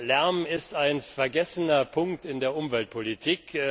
Lärm ist ein vergessener Punkt in der Umweltpolitik.